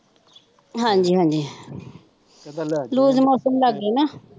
ਹਾਂਜੀ ਹਾਂਜੀ loose motion ਲੱਗ ਗਏ ਨਾ